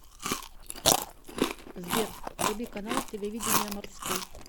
сбер вруби канал телевидения морской